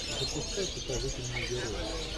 запускай покажите мне героя